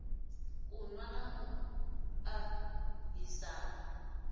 u nwa na u ahisana